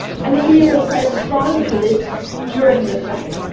The EU will press strongly for this during the summit.